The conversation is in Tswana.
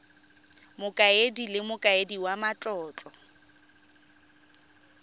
mokaedi le mokaedi wa matlotlo